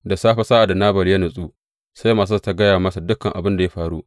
Da safe sa’ad da Nabal ya natsu, sai matarsa ta gaya masa dukan abin da ya faru.